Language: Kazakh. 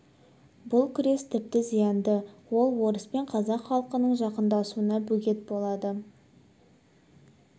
бұл күрес тіпті зиянды ол орыс пен қазақ халқының жақындасуына бөгет болады